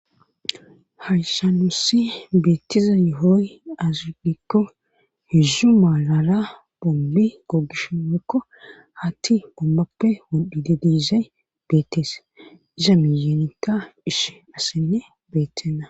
Hayssan nuusi beetiza yohoy aaze giiko heedzdzu marara bonni gogishin woykko haththi bollappe wodhishin iza mihen issi asikka beetenna